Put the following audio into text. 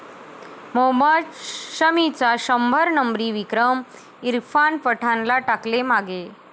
मोहम्मद शमीचा शंभर नंबरी विक्रम, इरफान पठाणला टाकले मागे